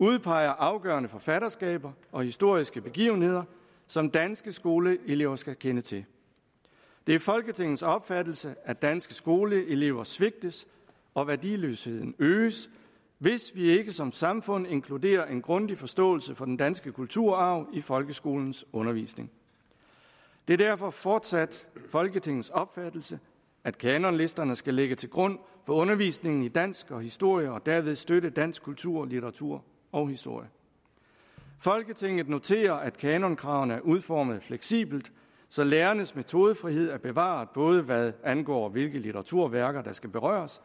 udpeger afgørende forfatterskaber og historiske begivenheder som danske skoleelever skal kende til det er folketingets opfattelse at danske skoleelever svigtes og værdiløsheden øges hvis vi ikke som samfund inkluderer en grundig forståelse for den danske kulturarv i folkeskolens undervisning det er derfor fortsat folketingets opfattelse at kanonlisterne skal ligge til grund for undervisningen i dansk og historie og derved støtte dansk kultur litteratur og historie folketinget noterer at kanonkravene er udformet fleksibelt så lærernes metodefrihed er bevaret både hvad angår hvilke litteraturværker der skal berøres